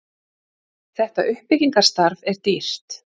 þetta uppbyggingarstarf er dýrt